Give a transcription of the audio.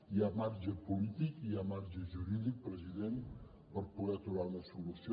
hi ha marge polític i hi ha marge jurídic president per poder trobar una solució